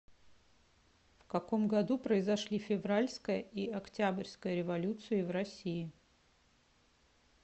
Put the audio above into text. в каком году произошли февральская и октябрьская революции в россии